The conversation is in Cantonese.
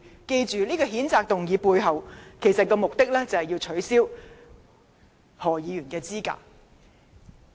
記着，譴責議案的目的，其實是想取消何議員的議員資格。